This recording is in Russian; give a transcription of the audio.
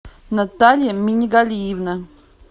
наталья минигалиевна